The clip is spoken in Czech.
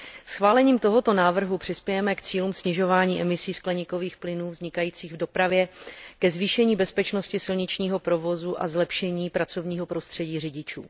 Schválením tohoto návrhu přispějeme k cílům snižování emisí skleníkových plynů vznikajících v dopravě, ke zvýšení bezpečnosti silničního provozu a zlepšení pracovního prostředí řidičů.